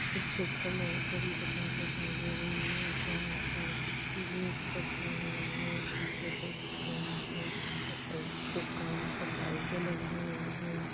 इस चित्र में एक बड़ी दुकान दिखाई दे रही है जहाँ पर जीन्स रखे हुए हैं टी-शर्ट दिख रहीं हैं एक दुकान पर लाइटे लगी हुई हैं।